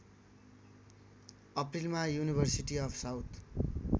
अप्रिलमा university of south